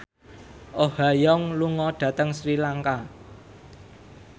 Oh Ha Young lunga dhateng Sri Lanka